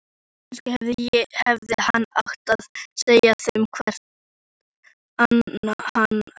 Kannski hefði hann átt að segja þeim hvert hann ætlaði.